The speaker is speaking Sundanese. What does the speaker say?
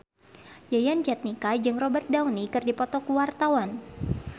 Yayan Jatnika jeung Robert Downey keur dipoto ku wartawan